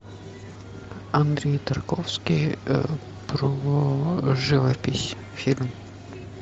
андрей тарковский про живопись фильм